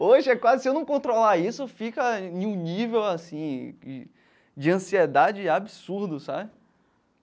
Hoje, é quase se eu não controlar isso, fica em um nível assim de de ansiedade absurdo, sabe?